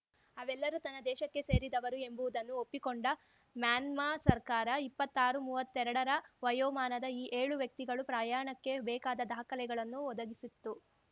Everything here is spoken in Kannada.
ಅವೆಲ್ಲರೂ ತನ್ನ ದೇಶಕ್ಕೆ ಸೇರಿದವರು ಎಂಬುವುದನ್ನು ಒಪ್ಪಿಕೊಂಡ ಮ್ಯಾನ್ಮಾ ಸರ್ಕಾರ ಇಪ್ಪತ್ತಾರುಮೂವತ್ತೆರಡ ರ ವಯೋಮಾನದ ಈ ಏಳು ವ್ಯಕ್ತಿಗಳು ಪ್ರಯಾಣಕ್ಕೆ ಬೇಕಾದ ದಾಖಲೆಗಳನ್ನು ಒದಗಿಸಿತ್ತು